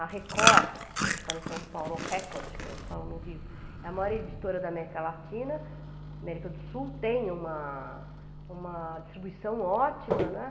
A Record, como a gente fala em São Paulo, Record, como falam no Rio, é a maior editora da América Latina, América do Sul, tem uma uma distribuição ótima, né.